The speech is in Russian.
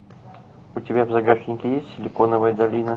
у тебя в загашнике есть силиконовая долина